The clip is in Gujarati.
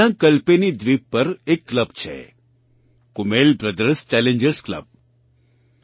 ત્યાં કલ્પેની દ્વીપ પર એક ક્લબ છે કૂમેલ બ્રધર્સ ચેલેન્જર્સ ક્લબ